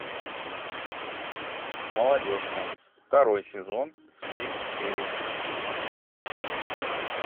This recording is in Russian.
молодежка второй сезон все серии